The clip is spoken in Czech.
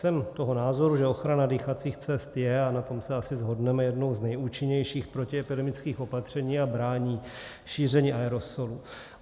Jsem toho názoru, že ochrana dýchacích cest je, a na tom se asi shodneme, jednou z nejúčinnějších protiepidemických opatření a brání šíření aerosolu.